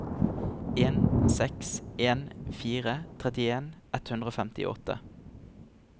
en seks en fire trettien ett hundre og femtiåtte